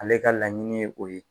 Ale ka laɲini ye o ye